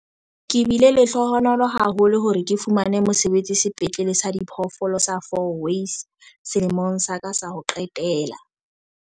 "Ke bile lehlohonolo haholo hore ke fumane mosebetsi Sepetlele sa Diphoofolo sa Fourways selemong sa ka sa ho qetela."